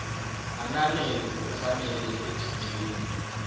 ananele ngokufanele ephinjeni